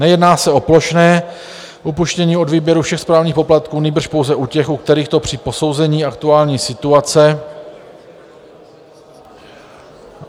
Nejedná se o plošné upuštění od výběru všech správních poplatků, nýbrž pouze u těch, u kterých to při posouzení aktuální situace... .